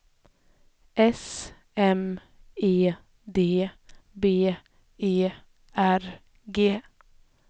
S M E D B E R G